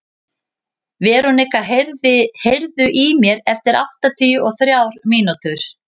Veronika, heyrðu í mér eftir áttatíu og þrjár mínútur.